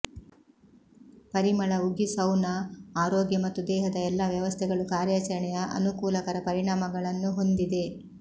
ಪರಿಮಳ ಉಗಿ ಸೌನಾ ಆರೋಗ್ಯ ಮತ್ತು ದೇಹದ ಎಲ್ಲಾ ವ್ಯವಸ್ಥೆಗಳು ಕಾರ್ಯಚರಣೆಯ ಅನುಕೂಲಕರ ಪರಿಣಾಮಗಳನ್ನು ಹೊಂದಿದೆ